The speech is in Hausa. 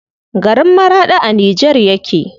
Garin Maraɗi a Nijar yake.